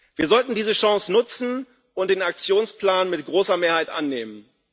Wir sollten diese Chance nutzen und den Aktionsplan mit großer Mehrheit annehmen.